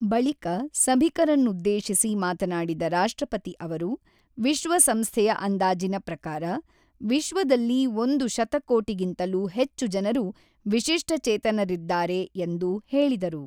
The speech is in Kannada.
ಬಳಿಕ ಸಭಿಕರನ್ನುದ್ದೇಶಿಸಿ ಮಾತನಾಡಿದ ರಾಷ್ಟ್ರಪತಿ ಅವರು, ವಿಶ್ವಸಂಸ್ಥೆಯ ಅಂದಾಜಿನ ಪ್ರಕಾರ, ವಿಶ್ವದಲ್ಲಿ ಒಂದು ಶತಕೋಟಿಗಿಂತಲೂ ಹೆಚ್ಚು ಜನರು ವಿಶಿಷ್ಟಚೇತನರಿದ್ದಾರೆ ಎಂದು ಹೇಳಿದರು.